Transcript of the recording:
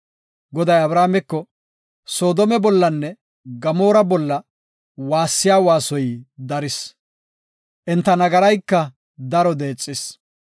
Goday Abrahaameko, “Soodome bollanne Gamoora bolla waassiya waasoy daris; enta nagarayka daro deexis.